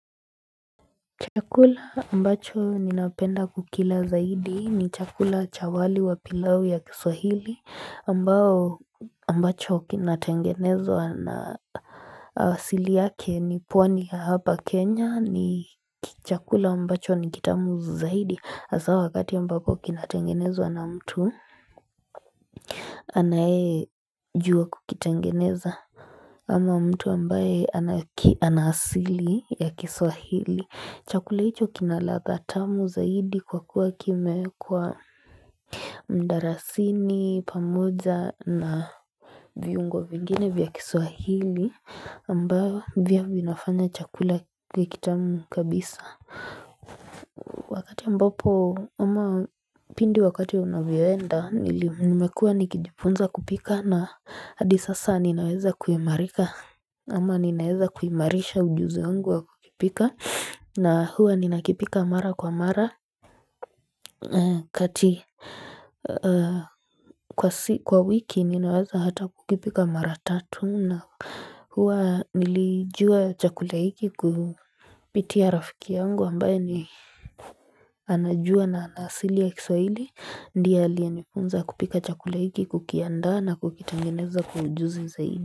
Chakula ambacho ninapenda kukila zaidi ni chakula cha wali wa pilau ya kiswahili ambacho kinatengenezwa na asili yake ni pwani ya hapa Kenya ni chakula ambacho nikitamu zaidi hasa wakati ambacho kinatengenezwa na mtu anaye juwa kukitengeneza Ama mtu ambaye anaasili ya kiswahili Chakula hicho kinalathatamu zaidi kwa kuwa kimewekwa mdarasini pamoja na viungo vingine vya kiswahili ambavyo vinafanya chakula kiwe kitamu kabisa Wakati ambapo ama pindi wakati unavyoenda nimekua nikijifunza kupika na hadisasa ninaweza kuimarika Ama ninaeza kuimarisha ujuzi wangu wa kukipika na huwa ninakipika mara kwa mara kati kwa wiki ninaweza hata kukipika mara tatu na huwa nilijua chakula hiki kupitia rafiki yangu ambaye ni anajua na anaasili ya kiswaili ndiye aliyenifunza kupika chakula hiki kukiandaa na kukitengeneza kwa ujuzi zaidi.